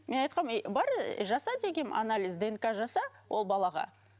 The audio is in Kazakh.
мен айтқанмын әй бар жаса дегенмін анализ днк жаса ол балаға